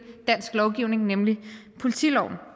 dansk lovgivning nemlig politiloven